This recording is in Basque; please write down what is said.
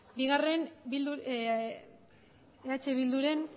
eh bildu ren